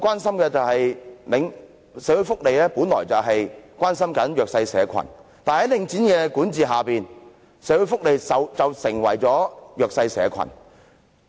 社會福利界本來是要關心弱勢社群的，但在領展管理下，社會福利界便成為弱勢社群。